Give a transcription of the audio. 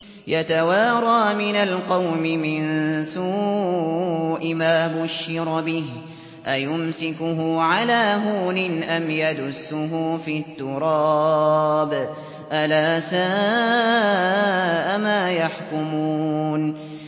يَتَوَارَىٰ مِنَ الْقَوْمِ مِن سُوءِ مَا بُشِّرَ بِهِ ۚ أَيُمْسِكُهُ عَلَىٰ هُونٍ أَمْ يَدُسُّهُ فِي التُّرَابِ ۗ أَلَا سَاءَ مَا يَحْكُمُونَ